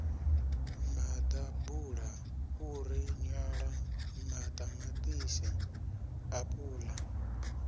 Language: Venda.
maḓabula fhuri nyala ṱamaṱisi apula